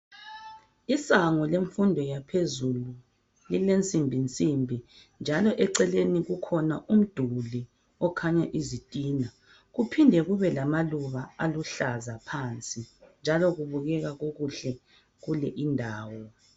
Isango lemfundo yaphezulu lilensimbi nsimbi njalo eceleni kukhona umduli okhanya izitina, kuphinde kube lamaluba aluhlaza phansi njalo kubukeka kukuhle kule indawo.